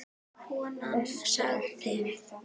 Konan sagði